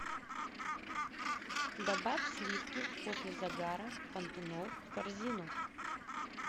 добавь сливки после загара пантенол в корзину